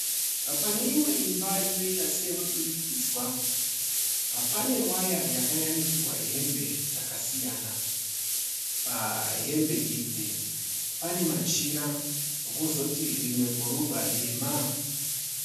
Pane imwe imba inoita seyemudurikidzwa, pane waya yakayanikirwa hembe dzakasiyana. Pahembe idzi pane machira kozoti rimwe bhurugwa dema.